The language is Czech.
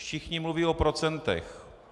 Všichni mluví o procentech.